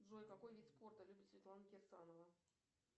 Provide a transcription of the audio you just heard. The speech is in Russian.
джой какой вид спорта любит светлана кирсанова